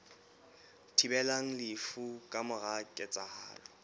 thibelang lefu ka mora ketsahalo